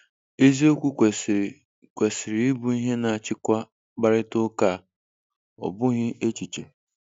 Eziokwu kwesịrị kwesịrị ịbụ ihe na-achịkwa mkparịta ụka a, ọ bụghị echiche.